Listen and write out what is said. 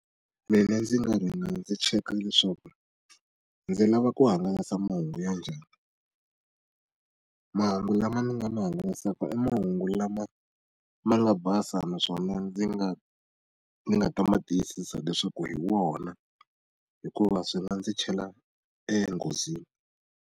Mina ndzi nga rhanga ndzi cheka leswaku ndzi lava ku hangalasa mahungu ya njhani. Mahungu lama ni nga ma hangalasaka mahungu lama ma nga basa naswona ndzi nga ndzi nga ta ma tiyisisa leswaku hi wona hikuva swi nga ndzi chela enghozini.